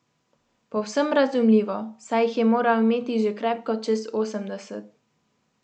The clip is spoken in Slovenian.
Povsem razumljivo, saj jih je moral imeti že krepko čez osemdeset.